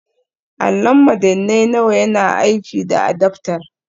Allon madannai nawa yana aiki da adaftar